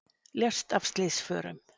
Lést af slysförum